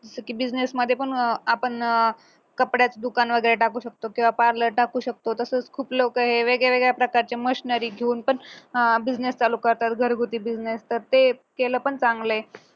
जसं की business मध्ये पण आपण अं कपड्याचे दुकान वगैरे टाकू शकतो parlor टाकू शकतो तसंच खूप लोक हे वेगवेगळ्या प्रकारचे machinary घेऊन पण अं business चालू करतात घरगुती business तर ते केलं पण चांगलंये